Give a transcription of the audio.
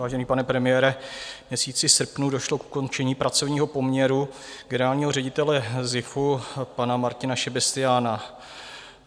Vážený pane premiére, v měsíci srpnu došlo k ukončení pracovního poměru generálního ředitele SZIFu, pana Martina Šebestyána.